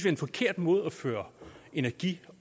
en forkert måde at føre energi